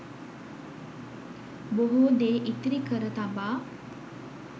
බොහෝ දේ ඉතිරි කර තබා